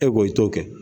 E ko i t'o kɛ